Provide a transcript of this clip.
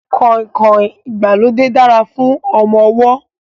Kọ̀ìnkọ̀ìn ìgbàlódé dára fún ọmọ ọwọ́